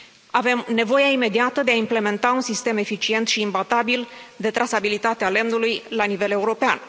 Avem nevoie imediată de a implementa un sistem eficient și imbatabil de trasabilitate a lemnului la nivel european.